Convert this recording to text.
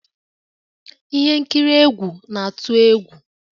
Ihe nkiri egwu na-atụ egwu